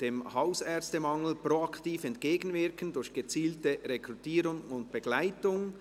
«Dem Hausärztemangel proaktiv entgegenwirken durch gezielte Rekrutierung und Begleitung».